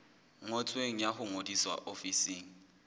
ngotsweng ya ho ngodisa ofising